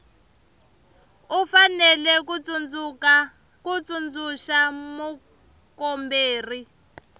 u fanele ku tsundzuxa mukomberi